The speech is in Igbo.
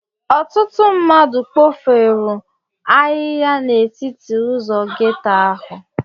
Ọtụtụ mmadụ kpofuru ahịhịa n'etiti ụzọ ghetto ahụ.